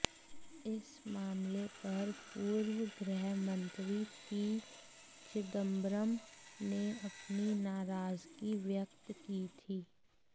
इस मामले पर पूर्व गृह मंत्री पी चिदंबरम ने अपनी नाराजगी व्यक्त की थी